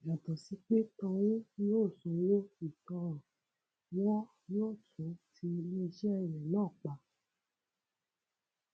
yàtọ sí pé tọhún yóò sanwó ìtanràn wọn yóò tún ti iléeṣẹ rẹ náà pa